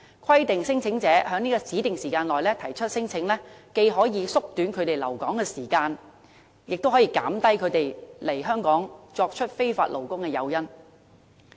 規定聲請者在指定時間內提出聲請，既可縮短他們的留港時間，也可減少他們來港當非法勞工的誘因。